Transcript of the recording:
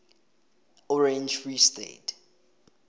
orange free state